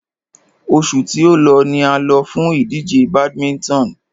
Oṣù tí o lọ ni a lọ fún ìdíje badminton.